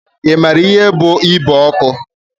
I maara ihe bú igbe ọkụ?